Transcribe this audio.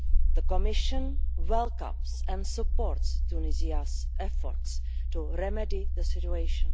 The Commission welcomes and supports Tunisia's efforts to remedy the situation.